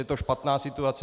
Je to špatná situace.